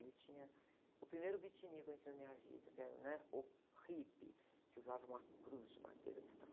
Ali tinha o primeiro beatnik que eu conheci na minha vida, que era o, né? O Hippie, que usava uma cruz de madeira desse tamanho.